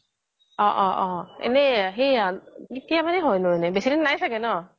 অ অ এনে সেইয়া কেইদিন হয় নো এনে বেচি দিন নাই চাগে ন